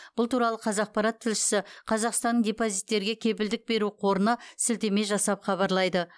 бұл туралы қазақпарат тілшісі қазақстанның депозиттерге кепілдік беру қорына сілтеме жасап хабарлайды